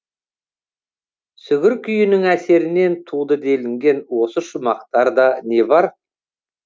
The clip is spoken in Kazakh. сүгір күйінің әсерінен туды делінген осы шумақтарда не бар